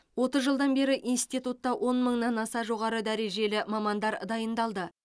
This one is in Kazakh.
отыз жылдан бері институтта он мыңнан аса жоғары дәрежелі мамандар дайындалды